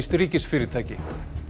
namibískt ríkisfyrirtæki